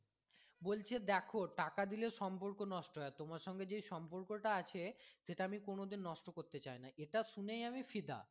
বলছে দেখো টাকা দিলে সম্পর্ক নষ্ট হয় তোমার সাথে যেই সম্পর্ক টা আছে সেটা আমি কোনো দিন নষ্ট করতে চাই না এটা শুনেই আমি ফিদা